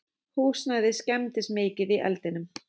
Húsnæðið skemmdist mikið í eldinum